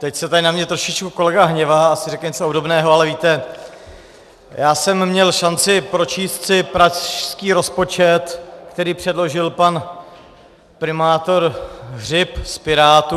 Teď se tady na mě trošičku kolega hněvá, asi řekne něco obdobného, ale víte, já jsem měl šanci pročíst si pražský rozpočet, který předložil pan primátor Hřib z Pirátů.